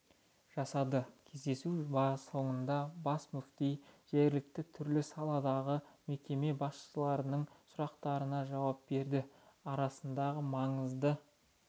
жасады кездесу соңында бас мүфти жергілікті түрлі саладағы мекеме басшыларының сұрақтарына жауап берді арнасындағы маңызды